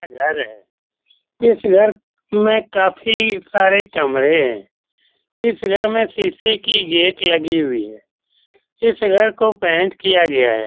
घर है इस घर में काफी सारे कमरे है इस घर में शीशे कि गेट लगी हुई है इस घर को पेंट किया गया है।